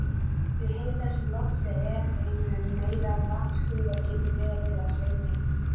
Því heitara sem loftið er, þeim mun meiri vatnsgufa getur verið á sveimi í því.